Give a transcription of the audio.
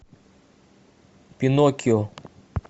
пиноккио